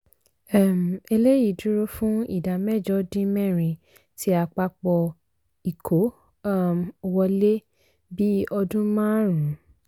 um eléyìí dúró fún ìdá mẹ́jọ dín mẹ́rin ti àpapọ̀ ìkó um wọlé bí ọdún márùn-ún.